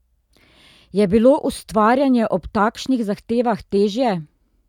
Je bilo ustvarjanje ob takšnih zahtevah težje?